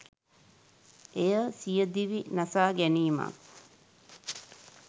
එය සියදිවි නසාගැනීමක්